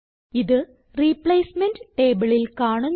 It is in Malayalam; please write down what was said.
ഇത് റിപ്ലേസ്മെന്റ് ടേബിളിൽ കാണുന്നു